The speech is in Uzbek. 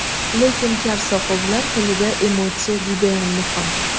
Lekin kar-soqovlar tilida emotsiya judayam muhim.